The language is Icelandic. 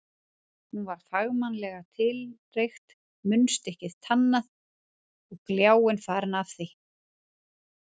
Hún var fagmannlega tilreykt, munnstykkið tannað og gljáinn farinn af því.